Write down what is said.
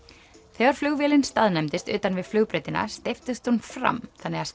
þegar flugvélin staðnæmdist utan við flugbrautina steyptist hún fram þannig að